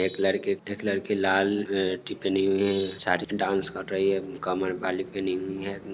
एक लड़की एक लड़की लाल टिकनी है साडी में डांस कर रही है| कमर में बाली पहने हुई हैं।